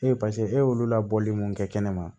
Ee paseke e y'olu labɔli mun kɛ kɛnɛma